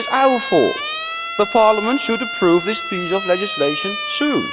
it is our fault. The Parliament should approve this piece of legislation soon.